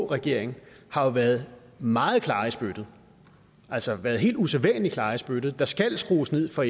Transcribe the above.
regering har jo været meget klare i spyttet altså været helt usædvanlig klare i spyttet om der skal skrues ned for